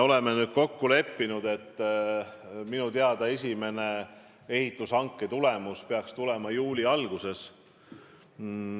Minu teada esimene ehitushanke tulemus peaks käes olema juuli alguses.